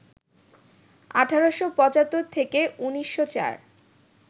১৮৭৫ থেকে ১৯০৪